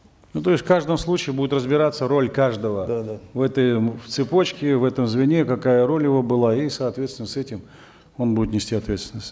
ну то есть в каждом случае будет разбираться роль каждого да да в этой цепочке в этом звене какая роль его была и соостветственно с этим он будет нести ответственность